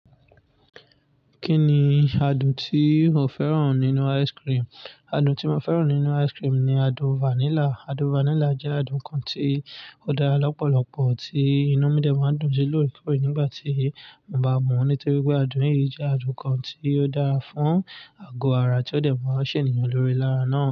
Kí ni adùn tí o fẹ́ràn nínú ice cream? Adùn tí mo fẹ́ràn nínú ice cream ni adùn vanilla. Adùn vanilla jẹ́ adùn kan tí ó dára lọ́pọ̀lọpọ̀ tí inú midẹ̀ máa ń dùn sí lorekore nígbà tí mo bá mú. Nítorí pé adùn yìí jẹ́ adùn kan tí ó dára fún àgọ́ ara tí ó dẹ̀ máa ṣè ènìyàn lórí lára náà.